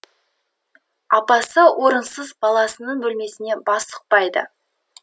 апасы орынсыз баласының бөлмесіне бас сұқпайды